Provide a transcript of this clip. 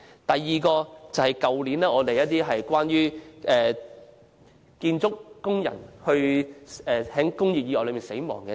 第二則報道關於去年建築工人因為工業意外而死亡的個案。